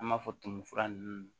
An b'a fɔ tumu fura ninnu